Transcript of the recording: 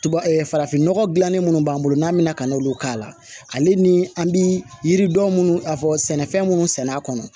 farafinnɔgɔ dilannen minnu b'an bolo n'an bɛna ka n'olu k'a la ale ni an bi yiri dɔn munnu fɔ sɛnɛfɛn munnu sɛnɛ a kɔnɔ